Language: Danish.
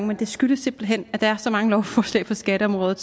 men det skyldes simpelt hen at der er så mange lovforslag på skatteområdet